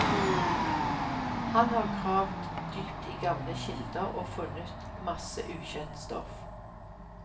Han har gravd dypt i gamle kilder, og funnet masse ukjent stoff.